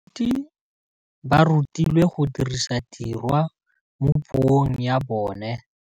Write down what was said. Baithuti ba rutilwe go dirisa tirwa mo puong ya bone.